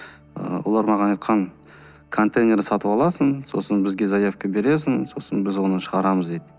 ы олар маған айтқан контейнер сатып аласың сосын бізге заявка бересің сосын біз оны шығарамыз дейді